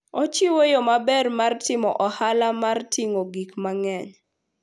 Ochiwo yo maber mar timo ohala mar ting'o gik mang'eny.